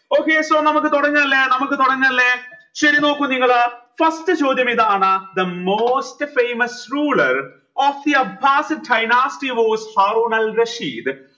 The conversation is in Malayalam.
okay so നമുക്ക് തുടങ്ങാ അല്ലേ നമുക്ക് തുടങ്ങല്ലേ ശരി നോക്കൂ നിങ്ങൾ first ചോദ്യം ഇതാണ് the most famous ruler of the